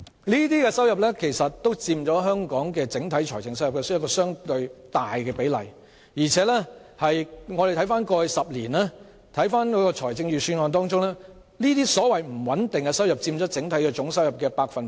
這些收入均佔香港整體財政收入相當大的比例，而回顧過去10年的預算案，這些所謂不穩定收入佔整體總收入約三成。